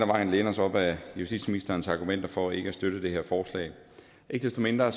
vejen læne os op af justitsministerens argumenter for ikke at støtte det her forslag ikke desto mindre